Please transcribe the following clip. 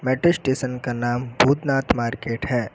Metro station का नाम Bhootnath market है।